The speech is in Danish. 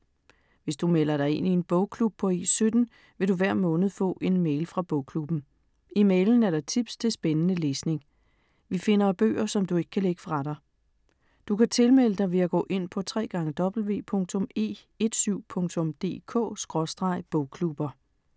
Hvis du melder dig ind i en bogklub på E17, vil du hver måned få en mail fra bogklubben. I mailen er der tips til spændende læsning. Vi finder bøger, som du ikke kan lægge fra dig. Du kan tilmelde dig ved at gå ind på www.e17.dk/bogklubber